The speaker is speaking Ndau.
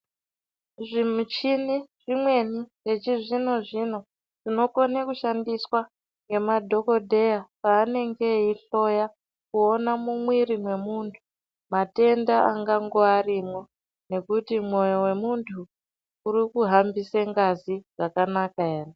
Zvimuchini zvimweni zvechizvino zvino zvinokone kushandiswa ngemadhokodheya paanenge eihloya kuona mumwiri mwemuntu matenda angangove arimwo nekuti mwoyo wemuntu uri kuhambise ngazi zvakanaka ere.